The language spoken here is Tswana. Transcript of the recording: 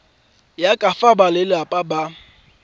ya ka fa balelapa ba